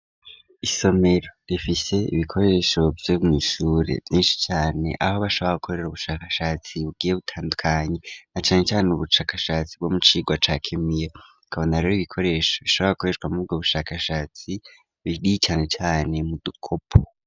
Isomero rifise ibikoresho vyo mu ishure vyinshi cane aho bashobora gukorera ubushakashatsi bugiye butandukanye na cane cane ubushakashatsi bwo mukigo ca kemiye tukabona rero ibikoresho bishobora gukoreshwa muri ubwo bushakashatsi binini cane cane mu dukopo.